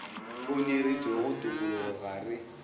o nyoretšwego tokologo ga re